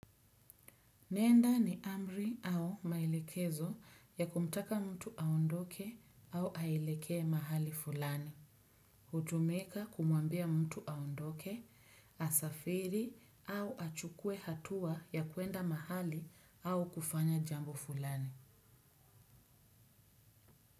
Nenda ni amri au maelekezo ya kumtaka mtu aondoke au aelekee mahali fulani. Hutumika kumwambia mtu aondoke, asafiri au achukue hatua ya kuenda mahali au kufanya jambo fulani.